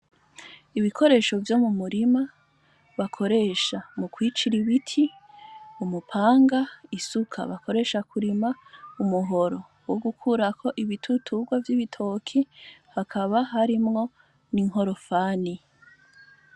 Ibikoresho vyo m'umurima bakoresha mukwicir'ibiti; umupanga, isuka bakoresha mukurima, umuhoro wo gukurako ibituturwa vy'ibitoki hakaba harimwo n'inkorofani.